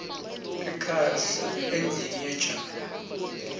ekhaya sihlala endlini yetjani